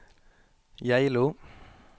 Geilo